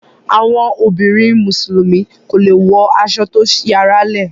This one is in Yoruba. àwọn obìrin musulumi kọ lẹ wò aso to sí àrà le.